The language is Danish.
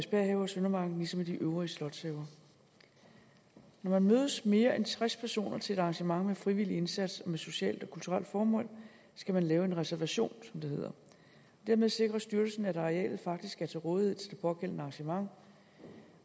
have og søndermarken såvel som de øvrige slotshaver når man mødes mere end tres personer til et arrangement med frivillig indsats og med socialt og kulturelt formål skal man lave en reservation som det hedder dermed sikrer styrelsen at arealet faktisk er til rådighed til det pågældende arrangement